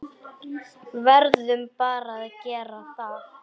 Verðum bara að gera það.